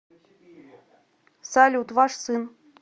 салют ваш сын